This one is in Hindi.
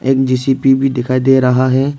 एक जी_सी_बी भी दिखाई दे रहा है।